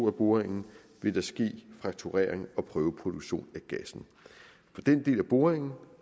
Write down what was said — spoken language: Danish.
af boringen vil der ske frakturering og prøveproduktion af gassen for den del af boringen